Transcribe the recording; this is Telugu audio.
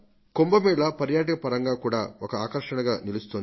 కుంభ మేళ పర్యాటక పరంగా కూడా ఒక ఆకర్షణగా నిలుస్తోంది